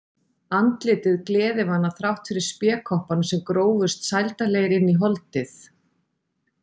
Andlitið gleðivana þrátt fyrir spékoppana sem grófust sældarlegir inn í holdið.